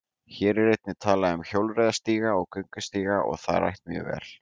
Hér er einnig talað um hjólreiðastíga og göngustíga og það rætt mjög vel.